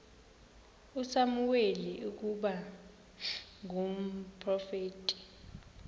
usamuweli ukuba ngumprofeti